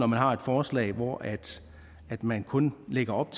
man har et forslag hvor man kun lægger op